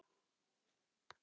Pabbi reyndi að hugga hana.